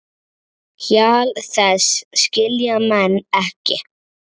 Hjal þess skilja menn ekki.